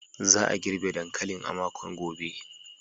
Za a girbe dankalin a makon gobe.